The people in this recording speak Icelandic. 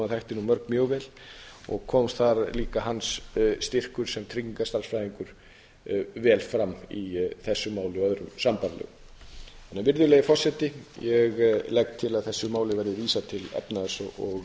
mörg mjög vel og kom þar líka styrkur hans sem tryggingastærðfræðings vel fram í þessu máli og öðrum sambærilegum virðulegi forseti ég legg til að þessu máli verði vísað til efnahags og